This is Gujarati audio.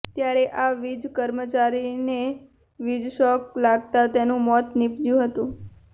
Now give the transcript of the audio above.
ત્યારે આ વિજ કર્મચારીને વિજશોક લાગતા તેનુ મોત નિપજ્યુ હતુ